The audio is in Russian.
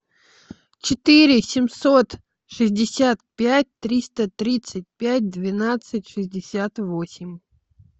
четыре семьсот шестьдесят пять триста тридцать пять двенадцать шестьдесят восемь